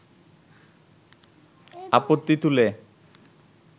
আপত্তি তুলে